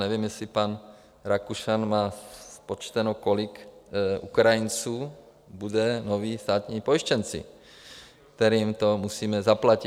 Nevím, jestli pan Rakušan má spočteno, kolik Ukrajinců bude novými státními pojištěnci, kterým to musíme zaplatit.